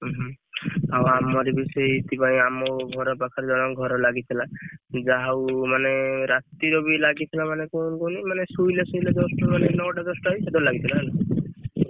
ଓହୋ ଆଉ ଆମର ବି ସେଇଥିପାଇଁ ଆମ ଘର ପାଖରେ ଜଣଙ୍କ ଘର ଲାଗିଥିଲା। ଯାହା ହଉ ମାନେ ରାତିରେ ବି ଲାଗିଥିଲା ମାନେ କଣ କୁହନି ମାନେ ଶୋଇଲେ ଶୋଇଲେ just ମାନେ ନଅଟା ଦଶଟା ବେଳକୁ ସେତବେଳେ ଲାଗିଥିଲା ହେଲା।